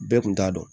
Bɛɛ kun t'a dɔn